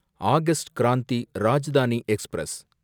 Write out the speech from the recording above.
August Kranti Rajdhani express